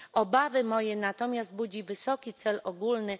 Obawy moje natomiast budzi wysoki cel ogólny.